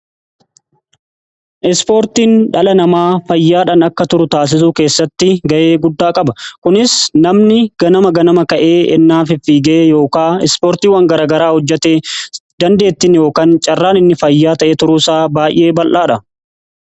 ispoortiin dhala namaa fayyaadhan akka turu taasisu keessatti gahee guddaa qaba. kunis namni ganama ganama ka'ee ennaa fiige yookaan ispoortiiwan garagaraa hojjete dandeettiin yookaan carraan inni fayyaa ta'ee turuu isaa baay'ee bal'aadha.